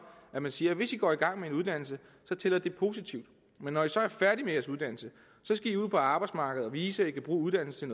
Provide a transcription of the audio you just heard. at man siger hvis i går i gang med en uddannelse tæller det positivt men når i så er færdige med jeres uddannelse skal i ud på arbejdsmarkedet og vise at i kan bruge uddannelsen